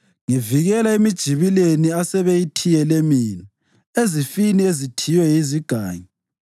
Ngivikela emijibileni asebeyithiyele mina, ezifini ezithiywe yizigangi.